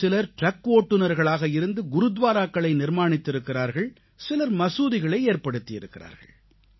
ஒரு சிலர் ட்ரக் ஓட்டினர்களாக இருந்து குருதுவாராக்களை நிர்மாணித்திருக்கிறார்கள் சிலர் மசூதிகளை ஏற்படுத்தியிருக்கிறார்கள்